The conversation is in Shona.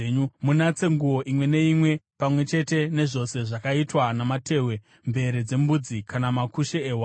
Munatse nguo imwe neimwe pamwe chete nezvose zvakaitwa namatehwe, mvere dzembudzi kana makushe ehwai.”